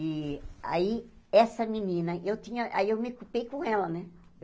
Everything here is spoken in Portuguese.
E aí, essa menina, eu tinha... aí eu me equipei com ela, né?